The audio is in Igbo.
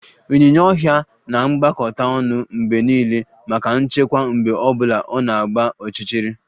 Ịnyinya ọhịa na-agbakọta ọnụ mgbe niile maka nchekwa mgbe ọ bụla ọ na-agba ọchịchịrị